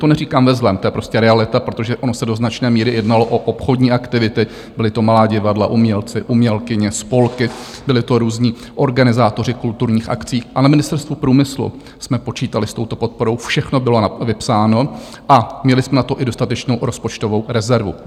To neříkám ve zlém, to je prostě realita, protože ono se do značné míry jednalo o obchodní aktivity, byla to malá divadla, umělci, umělkyně, spolky, byli to různí organizátoři kulturních akcí, a na Ministerstvu průmyslu jsme počítali s touto podporou, všechno bylo vypsáno a měli jsme na to i dostatečnou rozpočtovou rezervu.